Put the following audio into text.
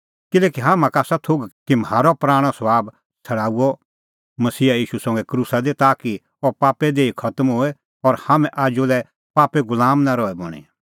किल्हैकि हाम्हां का आसा थोघ कि म्हारअ पराणअ सभाब छ़ड़ाऊअ मसीहा ईशू संघै क्रूसा दी ताकि अह पापे देही खतम होए और हाम्हैं आजू लै पापे गुलाम नां रहे बणीं